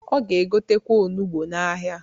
Ọ ga-egotekwa onugbo n'ahịa.